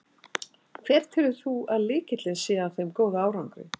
Hver telur þú að sé lykillinn að þeim góða árangri?